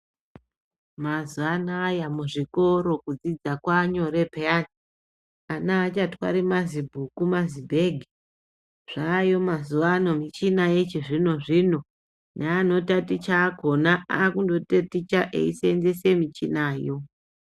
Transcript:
Mazuwa anaya muzvikoro kudzidza kwaanyore piyani ana aachatori mazibhuku nemazibhegi zvaayo mazuwa ano nemichina yechizvino zvino neanotaticha akonaakundotaticha eiseenzese michinayo.